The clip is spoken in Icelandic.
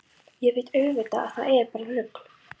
Ég veit auðvitað að það er bara rugl.